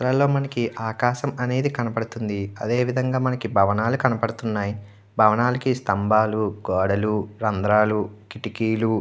అలలో మనకి ఆకాశమనేది కనబడుతుంది. అదేవిధంగా మనకి భవనాలు కనబడుతున్నాయి. పవనాలకు స్తంభాలు గోడలు కిటికీలు రంధ్రాలు--